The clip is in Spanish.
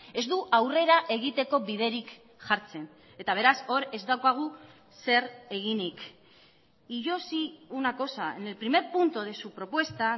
ez du aurrera egiteko biderik jartzen eta beraz hor ez daukagu zer eginik y yo sí una cosa en el primer punto de su propuesta